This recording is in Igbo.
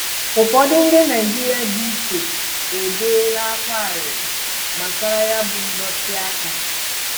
Ụfọdụ ndị Naịjirịa dị ichee ebeela ákwá arịrị gbasara ya bụ ndọtịaka